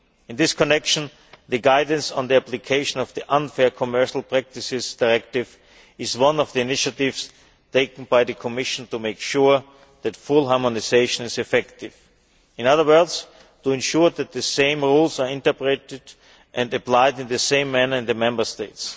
In this connection, the guidance on the application of the Unfair Commercial Practices Directive is one of the initiatives taken by the Commission to make sure that full harmonisation is effective in other words, to ensure that the same rules are interpreted and applied in the same manner in the Member States.